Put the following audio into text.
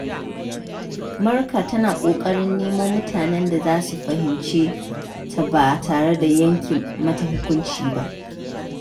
Marka tana kokarin nemo mutanen da za su fahimce ta ba tare da yanke mata hukunci ba.